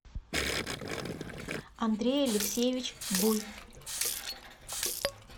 андрей алексеевич буй